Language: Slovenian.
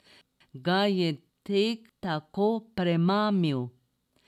Ga je tek tako premamil?